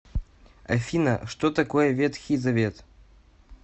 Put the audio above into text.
афина что такое ветхий завет